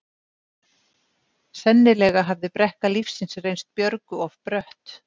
Sennilega hafði brekka lífsins reynst Björgu of brött.